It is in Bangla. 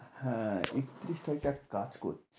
হ্যাঁ একতিরিশ তারিখ একটা কাজ করি।